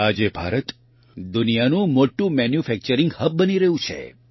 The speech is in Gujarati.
આજે ભારત દુનિયાનું મોટું મેન્યુફેક્ચરીંગ હબ બની રહ્યું છે